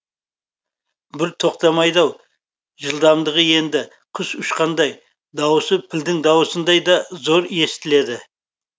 бір тоқтамайды ау жылдамдығы енді құс ұшқандай дауысы пілдің дауысындай да зор естіледі